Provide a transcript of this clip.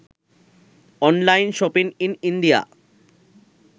online shopping in india